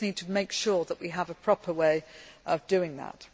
We just need to make sure that we have a proper way of doing